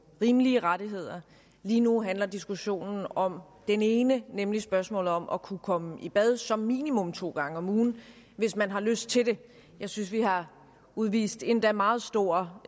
rimelige rettigheder lige nu handler diskussionen om den ene nemlig spørgsmålet om at kunne komme i bad som minimum to gange om ugen hvis man har lyst til det jeg synes vi har udvist endda meget stor